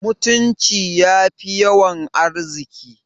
Mutunci yafi yawan arziki